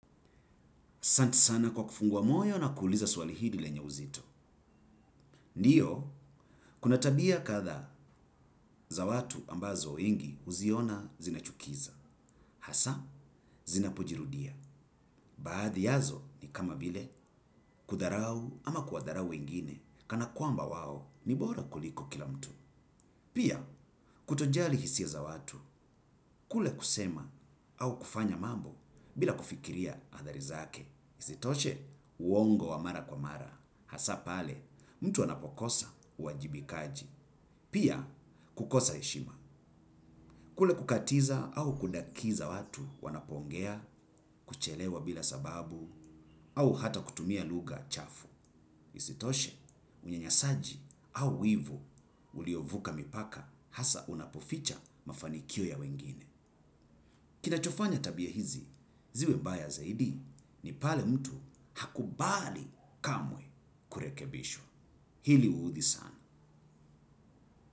Santi sana kwa kufungua moyo na kuuliza swali hili lenye uzito. Ndiyo, kuna tabia katha za watu ambazo wengi huziona zinachukiza. Hasa, zinapojirudia. Baadhi yazo ni kama vile kudharau ama kudharau wengine. Kana kuamba waho ni bora kuliko kila mtu. Pia, kutojali hisia za watu, kule kusema au kufanya mambo bila kufikiria aadharizake. Hizitoshe, uongo wa mara kwa mara. Hasa pale mtu anapokosa uajibikaji. Pia kukosa eshima. Kule kukatiza au kundakiza watu wanapongea kuchelewa bila sababu au hata kutumia luga chafu. Isitoshe unyanyasaji au wivu uliovuka mipaka hasa unapoficha mafanikio ya wengine. Kinachofanya tabia hizi, ziwe mbaya zaidi ni pale mtu hakubali kamwe kurekebishwa. Hili uhudhi sana.